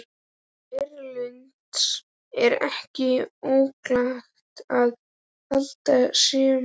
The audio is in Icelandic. Erlendis er ekki óalgengt að haldnir séu um